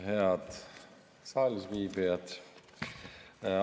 Head saalis viibijad!